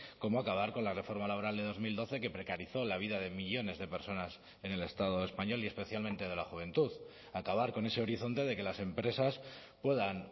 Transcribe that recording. como acabar con la reforma laboral de dos mil doce que precarizó la vida de millónes de personas en el estado español y especialmente de la juventud acabar con ese horizonte de que las empresas puedan